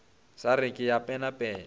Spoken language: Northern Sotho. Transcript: sa re ke a penapena